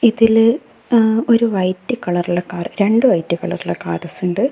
ഇതിൽ ആഹ് ഒരു വൈറ്റ് കളറിലുള്ള കാർ രണ്ട് വൈറ്റ് കളറിലുള്ള കാർ രസണ്ട്.